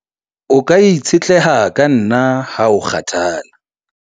o ka itshetleha ka nna ha o kgathala